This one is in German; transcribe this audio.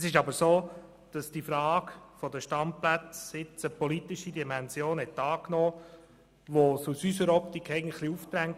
Es ist aber so, dass die Frage der Standplätze jetzt eine politische Dimension angenommen hat, sodass sich aus unserer Optik ein Marschhalt aufdrängt.